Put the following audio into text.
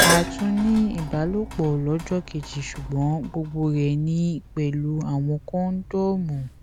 a tún ní ìbálòpọ lọjọ kejì ṣùgbọn gbogbo rẹ ni pẹlú àwọn kóndómù